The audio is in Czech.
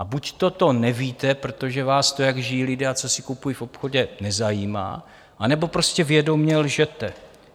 A buďto to nevíte, protože vás to, jak žijí lidé a co si kupují v obchodě, nezajímá, anebo prostě vědomě lžete.